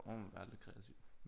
Så må man være lidt kreativ